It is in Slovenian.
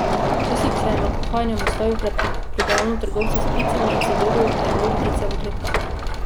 Včasih se je med pohajanjem ustavil pred prodajalno trgovca s pticami in si dolgo ogledoval ptice v kletkah.